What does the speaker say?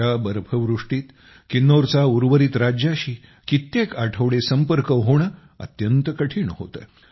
अशा बर्फवृष्टीत किन्नौरचा उर्वरित राज्याशी कित्येक आठवडे संपर्क होणे अत्यंत कठीण होते